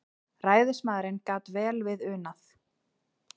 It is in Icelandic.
Ræðismaðurinn gat vel við unað.